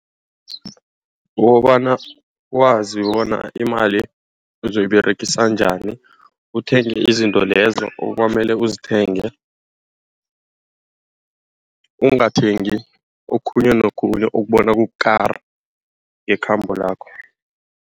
Kukobana wazi bona imali uzoyiberegisa njani. Uthenge izinto lezo okwamele uzithengele. Ungathengi okhunye nokhunye ukubona kukukara ngekhambo lakho.